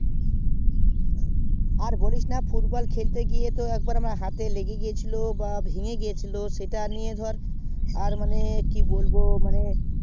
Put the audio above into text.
আর বলেন না football খেলতে গিয়ে আমার একবার হাতে লেগে গেছিলো বা ভেঙে গেছিলো তার জন্য আমি আর যাই না